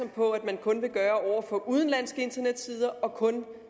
på at man kun vil gøre over for udenlandske internetsider og kun